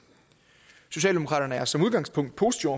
socialdemokraterne er som udgangspunkt positive